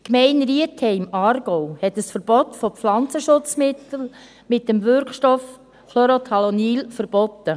Die Gemeinde Rietheim im Aargau hat ein Verbot von Pflanzenschutzmitteln mit dem Wirkstoff Chlorothalonil eingeführt.